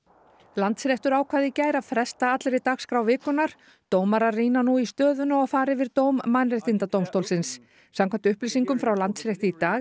Landsréttur ákvað í gær að fresta allri dagskrá vikunnar dómarar rýna nú í stöðuna og fara yfir dóm Mannréttindadómstólsins samkvæmt upplýsingum frá Landsrétti í dag